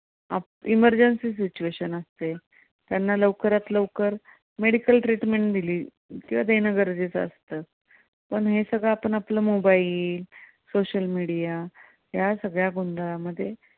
Emergency situation असते. त्यांना लवकरात लवकर medical treatment दिली किंवा देणं गरजेचं असतं पण हे सगळं आपलं mobile, social media या सगळ्या गोंधळा मध्ये